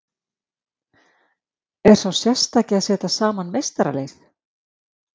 Er sá sérstaki að setja saman meistaralið?